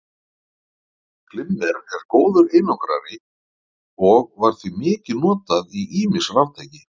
Glimmer er góður einangrari og var því mikið notað í ýmis raftæki.